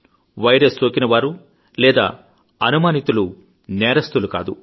virus సోకిన వారు లేదా అనుమానితులు నేరస్థులు కాదు